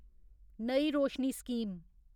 नई रोशनी स्कीम